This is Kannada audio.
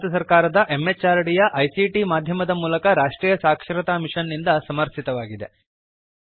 ಇದು ಭಾರತ ಸರ್ಕಾರದ MHRDಯ ICTಮಾಧ್ಯಮದ ಮೂಲಕ ರಾಷ್ಟ್ರೀಯ ಸಾಕ್ಷರತಾ ಮಿಷನ್ ನಿಂದ ಸಮರ್ಥಿತವಾಗಿದೆ